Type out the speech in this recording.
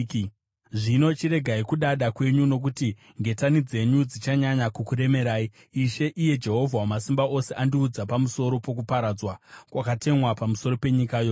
Zvino chiregai kudada kwenyu, nokuti ngetani dzenyu dzichanyanya kukuremerai; Ishe, iye Jehovha Wamasimba Ose, andiudza pamusoro pokuparadzwa kwakatemwa pamusoro penyika yose.